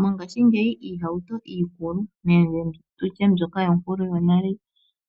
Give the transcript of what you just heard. Mongashingeyi iihauto iikulu nenge tutye mbyoka yonkulu yonale